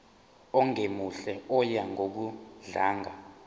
ongemuhle oya ngokudlanga